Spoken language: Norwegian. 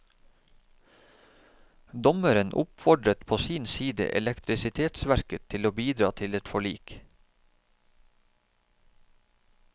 Dommeren oppfordret på sin side elektrisitetsverket til å bidra til et forlik.